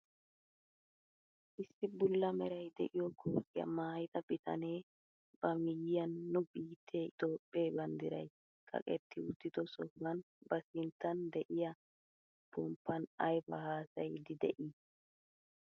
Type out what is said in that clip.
Issi bulla meray de'iyo kootiyaa maayida bitanee ba miyiyaan nu biittee itoophphee banddiray kaqetti uttido sohuwaan ba sinttan de'iyaa ponppan aybaa haasayiidi de'ii?